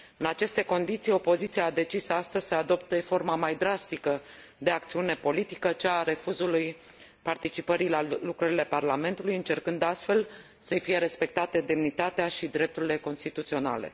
În aceste condiții, opoziția a decis astăzi să adopte forma mai drastică de acțiune politică, cea a refuzului participării la lucrările parlamentului, încercând astfel să i fie respectate demnitatea și drepturile constituționale.